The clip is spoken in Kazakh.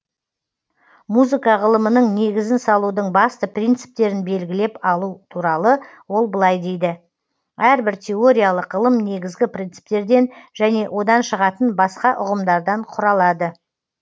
музыка ғылымының негізін салудың басты принциптерін белгілеп алу туралы ол былай дейді әрбір теориялык ғылым негізгі принциптерден және одан шығатын басқа ұғымдардан құралады